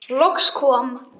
Loks kom